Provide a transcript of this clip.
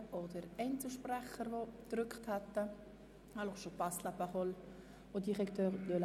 Ich sehe auch keine Einzelsprecherinnen und Einzelsprecher.